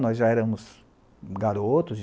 Nós já éramos garotos.